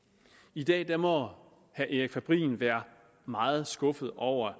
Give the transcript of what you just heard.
i dag må erik fabrin være meget skuffet over